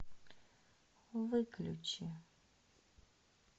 выключи